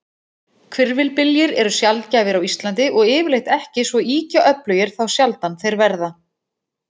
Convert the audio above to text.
Hvirfilbyljir eru sjaldgæfir á Íslandi, og yfirleitt ekki svo ýkja öflugir þá sjaldan þeir verða.